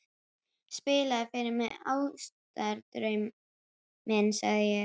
Spilaðu fyrr mig Ástardrauminn, sagði ég.